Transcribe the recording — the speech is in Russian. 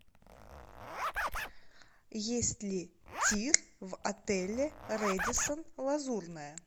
есть ли тир в отеле рэдиссон лазурная